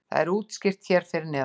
það er útskýrt hér fyrir neðan